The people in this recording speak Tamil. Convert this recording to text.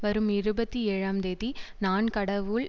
வரும் இருபத்தி ஏழுந்தேதி நான் கடவுள்